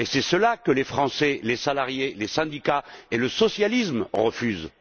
C'est cela que les Français, les salariés, les syndicats et le socialisme refusent.